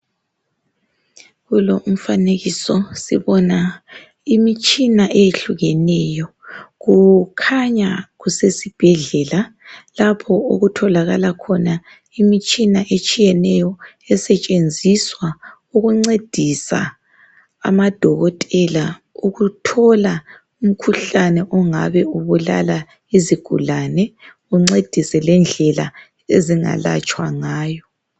Kulo umfanekiso sibona imitshina etshiyeneyo. Kukhanya kusesibhedlela lapho okutholakala khona imitshina etshiyeneyo esetshenziswa ukuncedisa amadokotela ukuthola umkhuhlane ongabe ubulala izigulane uncedise lendlela ezingelatshwa ngayo.